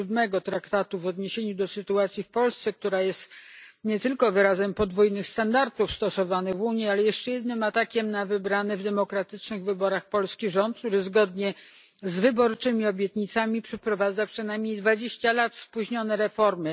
7 Traktatu w odniesieniu do sytuacji w Polsce. Decyzja ta jest nie tylko wyrazem podwójnych standardów stosowanych w Unii, ale jeszcze jednym atakiem na wybrany w demokratycznych wyborach polski rząd, który zgodnie z wyborczymi obietnicami przeprowadza spóźnione o przynajmniej dwadzieścia lat reformy.